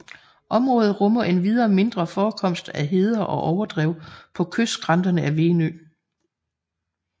Området rummer endvidere mindre forekomster af heder og overdrev på kystskrænterne af Venø